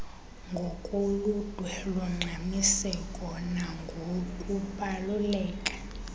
ngokoludwe longxamiseko nangokubaluleka